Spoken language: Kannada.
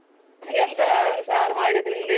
ಎಂಥ ಸಾರು ಮಾಡಿ ತಿಂದಿ?